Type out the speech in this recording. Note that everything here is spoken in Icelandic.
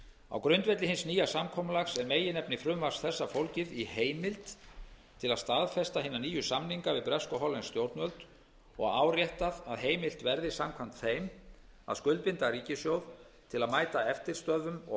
á grundvelli hins nýja samkomulags er meginefni frumvarps þessa fólgið í heimild til að staðfesta hina nýju samninga við bresk og hollensk stjórnvöld og árétta að heimilt verði samkvæmt þeim að skuldbinda ríkissjóð til að mæta eftirstöðvum og